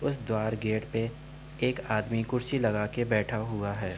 उस द्वार गेट पे एक आदमी कुर्सी लगाके बैठा हुआ है।